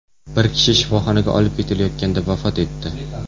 Bir kishi shifoxonaga olib ketilayotganda vafot etdi.